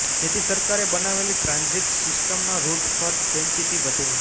જેથી સરકારે બનાવેલી ટ્રાન્ઝિટ સિસ્ટમના રૂટ પર ડેન્સિટી વધે